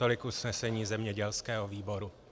Tolik usnesení zemědělského výboru.